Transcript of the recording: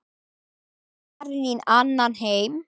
Farin í annan heim.